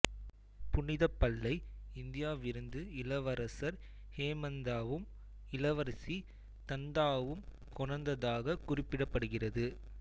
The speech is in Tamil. புனிதப்பல்லை இந்தியாவிருந்து இளவரசர் ஹேமந்தவும் இளவரசி தந்தாவும் கொணர்ந்ததாக குறிப்பிடப்படுகிறது